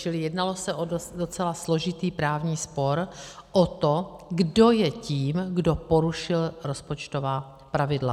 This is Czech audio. Čili jednalo se o docela složitý právní spor o to, kdo je tím, kdo porušil rozpočtová pravidla.